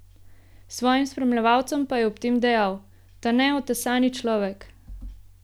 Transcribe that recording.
Svojim spremljevalcem pa je ob tem dejal: "Ta neotesani človek.